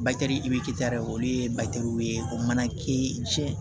i bɛ k' dɛ olu ye ye o mana kɛ cɛn